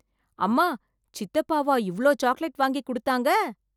அம்மா, சித்தப்பாவா இவ்ளோ சாக்லேட் வாங்கி குடுத்தாங்க?